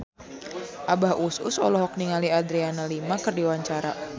Abah Us Us olohok ningali Adriana Lima keur diwawancara